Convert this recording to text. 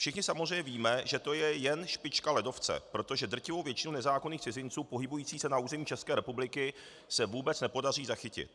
Všichni samozřejmě víme, že to je jen špička ledovce, protože drtivou většinu nezákonných cizinců pohybujících se na území České republiky se vůbec nepodaří zachytit.